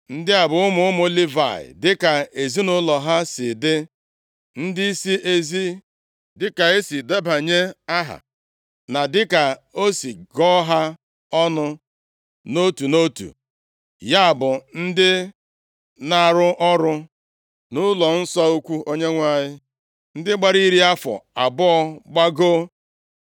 Ndị a bụ ụmụ ụmụ Livayị dịka ezinaụlọ ha si dị, ndịisi ezi, dịka e si debanye aha, na dịka e si gụọ ha ọnụ nʼotu nʼotu, ya bụ ndị na-arụ ọrụ nʼụlọnsọ ukwu Onyenwe anyị, ndị gbara iri afọ abụọ gbagoo.